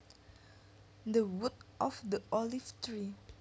The wood of the olive tree